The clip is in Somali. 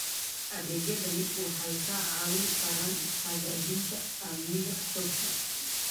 Adeegyadani waxay kaa caawin karaan hagaajinta amniga xogta.